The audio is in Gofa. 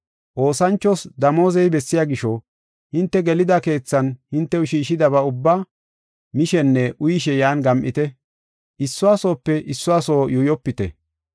Oosanchos damooze bessiya gisho, hinte gelida keethan hintew shiishidaba ubbaa mishenne uyishe yan gam7ite. Issuwa soope issuwa soo yuuyopite.